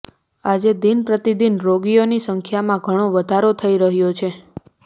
આજે દિનપ્રતિદિન રોગીઓની સંખ્યામાં ઘણો વધારો થઈ રહ્યો છે